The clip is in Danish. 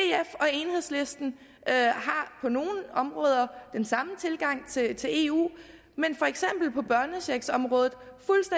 enhedslisten har på nogle områder den samme tilgang til til eu men for eksempel på børnechecksområdet